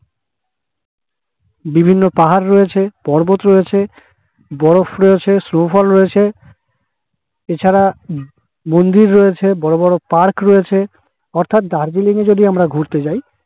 বিভিন্ন পাহাড় রইছ পর্বত রয়েছে বরফ রয়েছে snow fall রয়েছে এছাড়া মন্দির রয়েছে বড়ো বড়ো park রয়েছে তারপর দার্জিলিং এ যদি আমরা ঘুরতে যাই